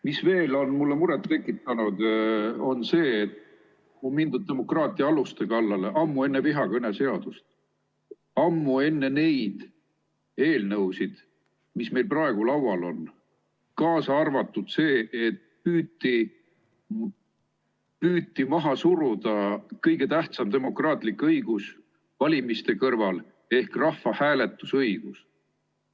Mis veel on mulle muret tekitanud, on see, et on mindud demokraatia aluste kallale ammu enne vihakõne seadust, ammu enne neid eelnõusid, mis meil praegu laual on, kaasa arvatud see, et püüti maha suruda kõige tähtsam demokraatlik õigus valimiste kõrval ehk rahvahääletuse õigus.